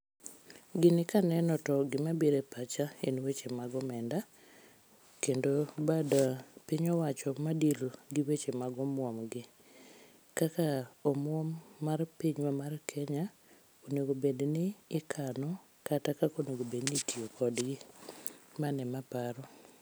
Gini kaneno to gima biro e pacha en weche mag omenda ,kendo bad piny owacho ma deal gi weche mag omuom gi. Kakak omuom mar pinywa mar Kenya onego obed ni ikano kata kaka onego obed ni itiyo kodgi, mano ema aparo